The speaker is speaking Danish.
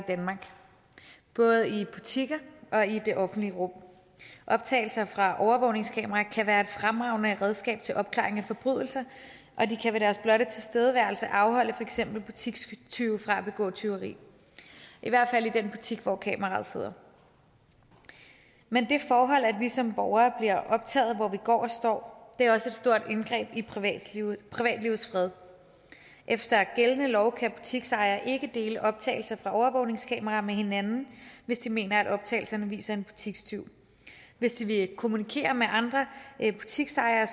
danmark både i butikker og i det offentlige rum optagelser fra overvågningskameraer kan være et fremragende redskab til opklaring af forbrydelser og tilstedeværelse afholde for eksempel butikstyve fra at begå tyveri i hvert fald i den butik hvor kameraet sidder men det forhold at vi som borgere bliver optaget hvor vi går og står er også et stort indgreb i privatlivets privatlivets fred efter gældende lov kan butiksejere ikke dele optagelser fra overvågningskameraer med hinanden hvis de mener at optagelserne viser en butikstyv hvis de vil kommunikere med andre butiksejere